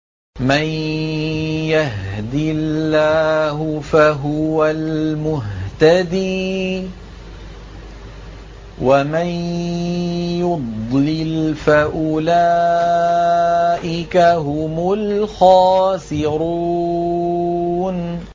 مَن يَهْدِ اللَّهُ فَهُوَ الْمُهْتَدِي ۖ وَمَن يُضْلِلْ فَأُولَٰئِكَ هُمُ الْخَاسِرُونَ